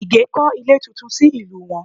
Ìgè kọ́ ilé tuntun sí ìlú wọn